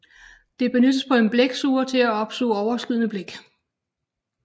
Det benyttes på en blæksuger til at opsuge overskydende blæk